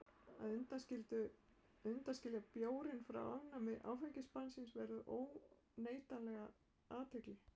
Að undanskilja bjórinn frá afnámi áfengisbannsins vekur óneitanlega athygli.